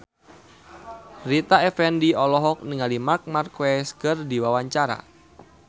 Rita Effendy olohok ningali Marc Marquez keur diwawancara